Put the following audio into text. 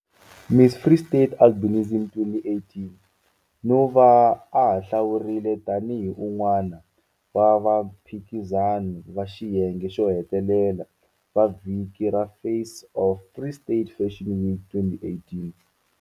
Miss Free State Albinism 2018 no va a hlawuriwile tanihi un'wana wa vaphikizani va xiyenge xo hetelela va Vhiki ra Face of Free State Fashion Week 2018.